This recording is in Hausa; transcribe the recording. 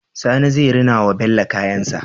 Sani zai rina wa bello kayan shi